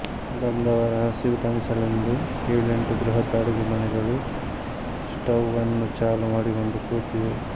ಬಂದವರ ಹಸಿವು ತಣಿಸಲೆಂದು ಏಳೆಂಟು ಬೃಹತ್ ಅಡುಗೆಮನೆಗಳು ಸ್ಟೌವನ್ನು ಚಾಲು ಮಾಡಿಕೊಂಡು ಕೂತಿವೆ